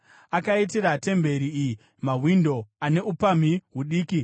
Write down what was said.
Akaitira temberi iyi mawindo ane upamhi hudiki.